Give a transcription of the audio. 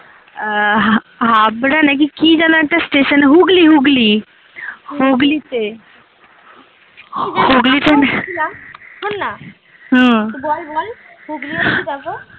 আহ হাবড়া নাকি কী যেনো একটা station হুগলী হুগলী